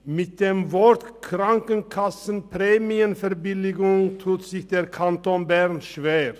Mit dem Begriff Krankenkassenprämienverbilligung tut sich der Kanton Bern schwer.